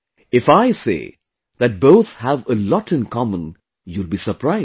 If I say that both have a lot in common, you will be surprised